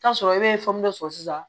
Taa sɔrɔ e ye sɔrɔ sisan